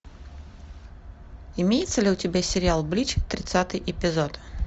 имеется ли у тебя сериал блич тридцатый эпизод